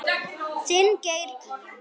Þinn Geir Gígja.